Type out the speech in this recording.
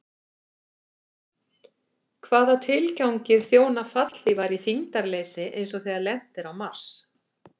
Hvaða tilgangi þjóna fallhlífar í þyngdarleysi eins og þegar lent er á Mars?